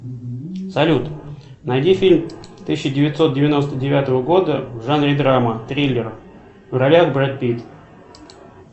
салют найди фильм тысяча девятьсот девяносто девятого года в жанре драма триллер в ролях брэд питт